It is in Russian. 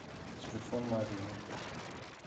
телефон марьино